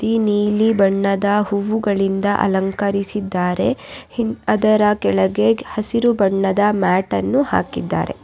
ಈ ನೀಲಿ ಬಣ್ಣದ ಹೂವುಗಳಿಂದ ಅಲಂಕರಿಸಿದ್ದಾರೆ ಅದರ ಕೆಳಗೆ ಹಸಿರು ಬಣ್ಣದ ಮ್ಯಾಟ್ ಅನ್ನು ಹಾಕಿದ್ದಾರೆ.